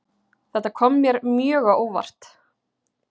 Þetta kom mér mjög á óvart